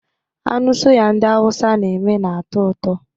Anụ suya ndị awụsa na-eme na-atọ ụtọ